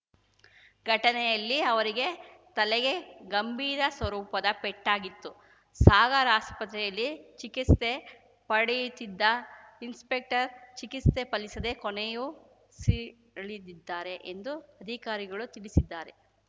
ಘಟನೆಯಲ್ಲಿ ಅವರಿಗೆ ತಲೆಗೆ ಗಂಭೀರ ಸ್ವರೂಪದ ಪೆಟ್ಟಾಗಿತ್ತು ಸಾಗರ್‌ ಆಸ್ಪತ್ರೆಯಲ್ಲಿ ಚಿಕಿಸ್ತೆ ಪಡೆಯುತ್ತಿದ್ದ ಇನ್ಸ್‌ಪೆಕ್ಟರ್‌ ಚಿಕಿಸ್ತೆ ಫಲಿಸದೆ ಕೊನೆಯುಸಿರೆಳೆದಿದ್ದಾರೆ ಎಂದು ಅಧಿಕಾರಿಗಳು ತಿಳಿಸಿದ್ದಾರೆ